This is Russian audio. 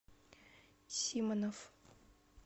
симонов